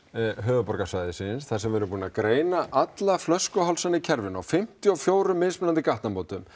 höfuðborgarsvæðisins þar sem við erum búin að greina alla flöskuhálsa í kerfinu á fimmtíu og fjögur mismunandi gatnamótum